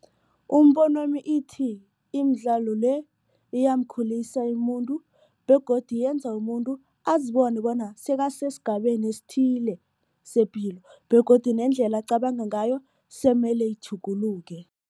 Umbonwami ithi, imidlalo le iyamkhulisa umuntu begodu yenza umuntu azibona bona sekasesigabeni esithile sepilo begodu nendlela acabanga ngayo siyimele itjhuguluke.